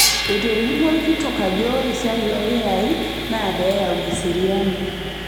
Etolimuo olkitok ajo ore esiai oo lkiyai naa pee eyau eseriani